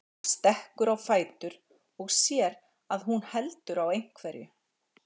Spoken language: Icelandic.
Hann stekkur á fætur og sér að hún heldur á einhverju.